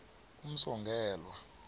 umsongelwa